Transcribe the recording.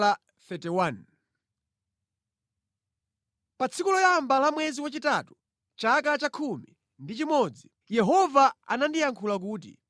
Pa tsiku loyamba la mwezi wachitatu, chaka cha khumi ndi chimodzi, Yehova anandiyankhula kuti: